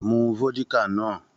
Mú vódíkà náà!